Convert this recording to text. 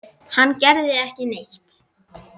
Hann gerði ekki neitt.